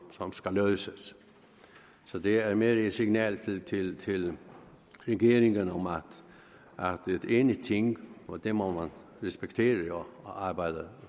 som skal løses så det er mere et signal til regeringen om at det er et enigt ting og det må man respektere og arbejde